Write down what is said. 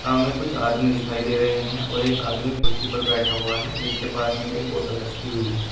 हमें कुछ आदमी दिखाई दे रहे हैं और एक आदमी कुर्सी पर बैठा हुआ है जिसके पास में एक बोतल रखी हुई है।